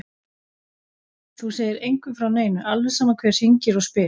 Þú segir engum frá neinu, alveg sama hver hringir og spyr.